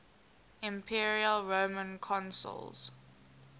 imperial roman consuls